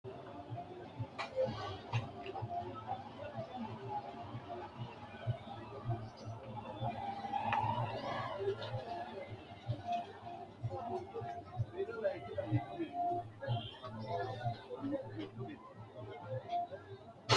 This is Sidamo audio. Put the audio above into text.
misile tini alenni nooti maati? maa xawissanno? Maayinni loonisoonni? mama affanttanno? leelishanori maati? tini lwltawo laalo mayi aana no?meu daniti no?